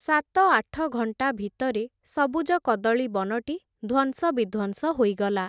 ସାତ ଆଠ ଘଣ୍ଟା ଭିତରେ, ସବୁଜ କଦଳୀ ବନଟି, ଧ୍ଵଂସବିଧ୍ଵଂସ ହୋଇଗଲା ।